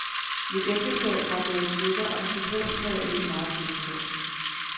Mit ægteskab var gået i stykker, og musikalsk havde jeg ikke meget at byde på.